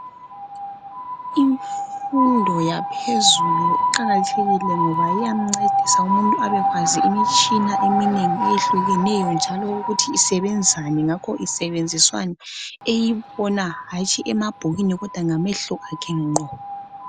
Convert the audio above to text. Imfundo yaphezulu iqakathekile ngoba iyamncedisa umuntu abekwazi imitshina eminengi eyehlukeneyo njalo ukuthi isebenzani ngakho isebenziswani eyibona hatshi emabhukwini kodwa ngamehlo akhe ngqo.